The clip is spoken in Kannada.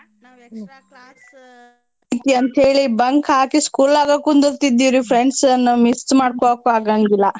ನಾವ್ extra class ಹೇಳಿ bunk ಹಾಕಿ school ಆಗ ಕುಂದ್ರತಿದ್ವೀರೀ friends ನ miss ಮಾಡ್ಕೊಳಕ್ಕು ಆಗಂಗಿಲ್ಲ.